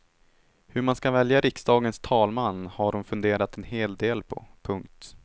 Hur man ska välja riksdagens talman har hon funderat en hel del på. punkt